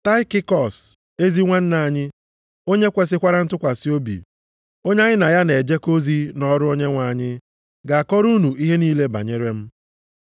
Taịkikọs, ezi nwanna anyị, onye kwesikwara ntụkwasị obi, onye anyị na ya na-ejekọ ozi nʼọrụ Onyenwe anyị, ga-akọrọ unu ihe niile banyere m.